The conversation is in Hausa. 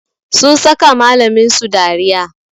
Sun saka malamin su dariya